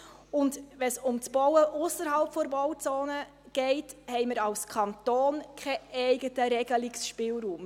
Wenn es um das Bauen ausserhalb der Bauzone geht, haben wir als Kanton keinen eigenen Regelungsspielraum.